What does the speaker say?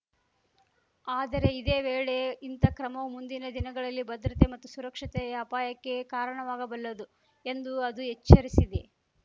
ಆದರೆ ಇದೇ ವೇಳೆ ಇಂಥ ಕ್ರಮವು ಮುಂದಿನ ದಿನಗಳಲ್ಲಿ ಭದ್ರತೆ ಮತ್ತು ಸುರಕ್ಷತೆಯ ಅಪಾಯಕ್ಕೆ ಕಾರಣವಾಗಬಲ್ಲದು ಎಂದೂ ಅದು ಎಚ್ಚರಿಸಿದೆ